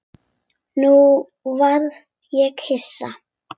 Nú varð ég hissa.